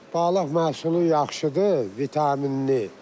Balıq məhsulu yaxşıdır, vitaminlidir.